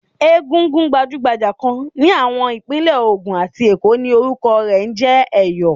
Egúngún gbajúgbajà kan ní àwọn Ìpínlẹ̀ Ògùn àti Èkó ni orúkọ rẹ̀ ń jẹ́ Ẹ̀yọ̀.